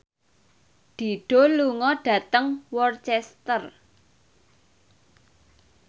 Dido lunga dhateng Worcester